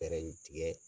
Fɛɛrɛ in tigɛ